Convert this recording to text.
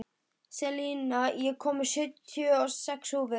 Selina, ég kom með sjötíu og sex húfur!